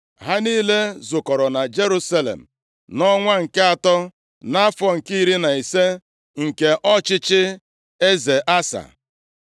Ha niile zukọrọ na Jerusalem nʼọnwa nke atọ nʼafọ nke iri na ise nke ọchịchị eze Asa.